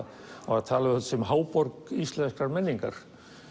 var talað um þetta sem háborg íslenskrar menningar